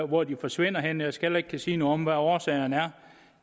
hvor de forsvinder hen jeg skal heller ikke kunne sige noget om hvad årsagerne er